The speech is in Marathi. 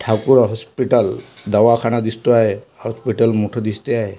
ठाकूर हॉस्पिटल दवाखाना दिसतोय हॉस्पिटल मोठ दिसते आहे.